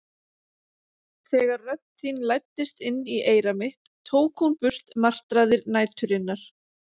Þegar rödd þín læddist inn í eyra mitt tók hún burt martraðir næturinnar.